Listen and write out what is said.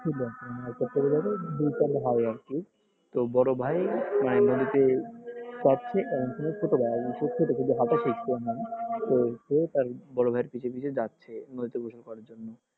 হয় আরকি তো বড় ভাই primary তে তো সেও তার বড় ভাই এর পিছে পিছে যাচ্ছে নদীতে গোসল করার জন্য।